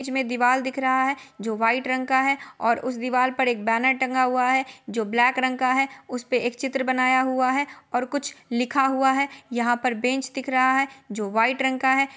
इसमें दीवाल दिख रहा है जो व्हाइट रंग का है और उस दीवाल पर एक बैनर टंगा हुआ है जो ब्लैक रंग का उस पे एक चित्र बनाया हुआ है और कुछ लिखा हुआ है यहाँ पर बेंच दिख रहा है जो व्हाइट रंग का है।